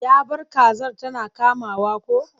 Ya bar kazar tana kamawa ko?